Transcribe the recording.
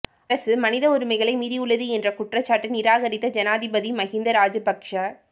அரசு மனித உரிமைகளை மீறியுள்ளது என்ற குற்றச்சாட்டை நிராகரித்த ஜனாதிபதி மகிந்த ராஜபக்ச